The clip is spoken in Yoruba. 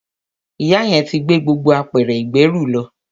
Ìyá yẹn ti gbé gbogbo apẹ̀rẹ̀ ìgbẹ́rù lọ.